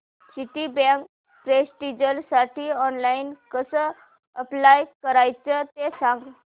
Citibank प्रेस्टिजसाठी online कसं apply करायचं ते सांग